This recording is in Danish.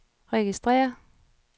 registrér